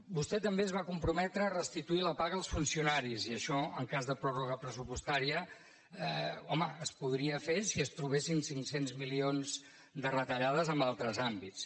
vostè també es va comprometre a restituir la paga als funcionaris i això en cas de pròrroga pressupostària home es podria fer si es trobessin cinc cents milions de retallades en altres àmbits